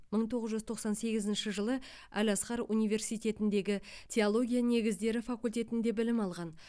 мың тоғыз жүз тоқсан сегізінші жылы әл азхар университетіндегі теология негіздері факультетінде білім алған